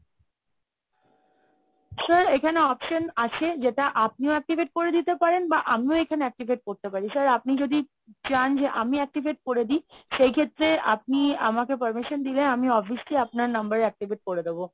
sir এখানে option আছে যেটা আপনিও activate করে দিতে পারেন বা আমিও এখানে activate করতে পারি। sir আপনি যদি চান যে আমি activate করে দিই সেই ক্ষেত্রে আপনি আমাকে permission দিলে আমি obviously আপনার number এ activate করে দেবো।